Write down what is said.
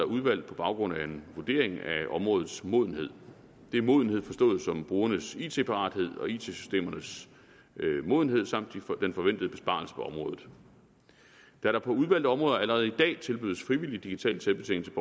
udvalgt på baggrund af en vurdering af områdets modenhed det er modenhed forstået som brugernes it parathed og it systemernes modenhed samt den forventede besparelse på området da der på udvalgte områder allerede i dag tilbydes frivillig digital selvbetjening